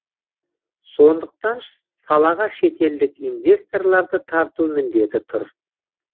сондықтан салаға шетелдік инвесторларды тарту міндеті тұр